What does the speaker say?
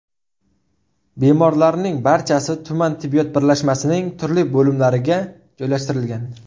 Bemorlarning barchasi tuman tibbiyot birlashmasining turli bo‘limlariga joylashtirilgan.